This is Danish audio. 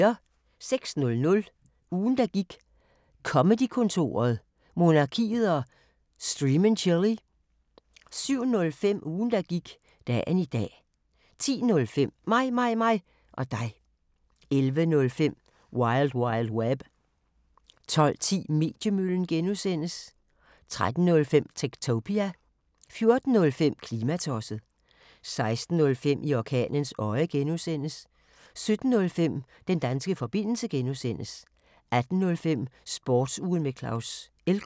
06:00: Ugen der gik: Comedy-kontoret, Monarkiet og Stream & Chill 07:05: Ugen der gik: Dagen i dag 10:05: Mig, mig, mig og dig 11:05: Wil wild web 12:10: Mediemøllen (G) 13:05: Techtopia 14:05: Klimatosset 16:05: I orkanens øje (G) 17:05: Den danske forbindelse (G) 18:05: Sportsugen med Claus Elgaard